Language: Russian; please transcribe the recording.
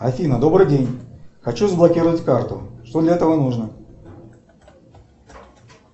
афина добрый день хочу заблокировать карту что для этого нужно